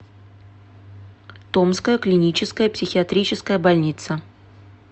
томская клиническая психиатрическая больница